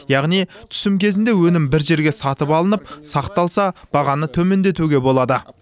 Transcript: яғни түсім кезінде өнім бір жерге сатып алынып сақталса бағаны төмендетуге болады